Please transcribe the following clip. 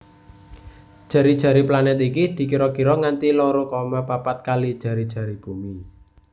Jari jari planet iki dikira kira nganti loro koma papat kali jari jari Bumi